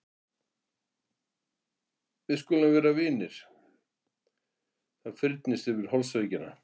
Við skulum vera vinir og það fyrnist yfir holdsveikina.